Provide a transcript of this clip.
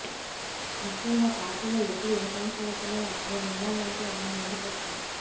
ముఖ్యంగా పార్టీలో ఎప్పుడు ఏ సమస్య వచ్చినా నేనున్నానంటూ ఆయన ముందుకు వచ్చారు